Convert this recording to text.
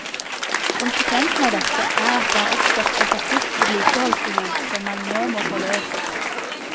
Konsekvensen av dette er at det har oppstått et akutt vedlikeholdsbehov som man nå må få løst.